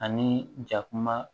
Ani jakuma